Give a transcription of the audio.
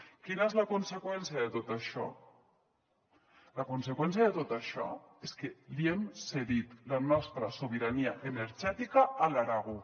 quina és la conseqüència de tot això la conseqüència de tot això és que hem cedit la nostra sobirania energètica a l’aragó